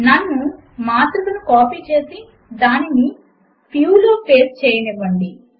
నన్ను మాత్రికను కాపీ చేసి దానిని ఫ్యూ లో పేస్ట్ చేయనివ్వండి